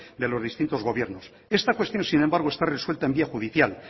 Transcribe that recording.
de los distintos gobiernos esta cuestión sin embargo está resuelta en vía judicial